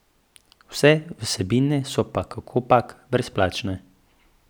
Vse vsebine pa so kakopak brezplačne.